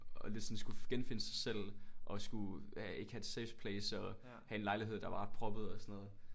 At lidt sådan skulle genfinde sig selv og skulle ja ikke have et safeplace og have en lejlighed der var proppet og sådan noget